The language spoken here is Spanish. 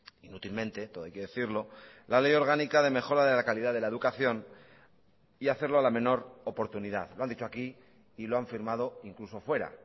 inútilmente todo hay que decirlo la ley orgánica de mejora de la calidad de la educación y hacerlo a la menor oportunidad lo han dicho aquí y lo han firmado incluso fuera